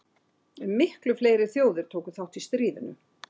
En miklu fleiri þjóðir tóku þátt í stríðinu.